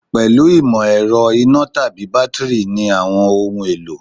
Pẹ̀lú ìmọ̀ ẹ̀rọ, iná tàbí bátíìrì ni àwọn ohun- èlò.